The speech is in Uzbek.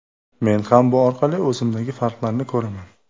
Men ham bu orqali o‘zimdagi farqlarni ko‘raman.